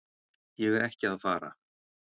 Ég er ekki að fara.